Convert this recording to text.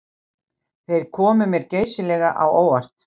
Þeir komu mér geysilega á óvart